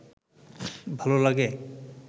ভাল লাগে?